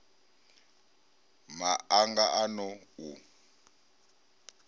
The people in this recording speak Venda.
ma anga a n ou